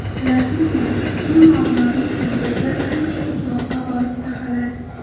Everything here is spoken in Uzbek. Bilasizmi, bu muammoning ildizi ancha uzoqqa borib taqaladi.